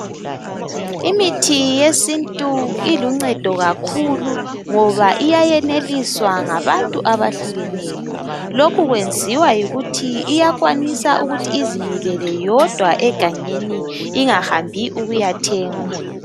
Imithi yesintu iluncedo kakhulu ngoba iyayeneliswa ngabantu abahlukeneyo. Lokhu kwenziwa yikuthi iyakwanisa ukuthi izimilele yodwa egangeni ingahambi ukuyathengwa.